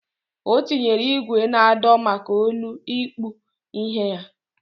O tinyere igwe na ado maka olu ikpụ ihe ya.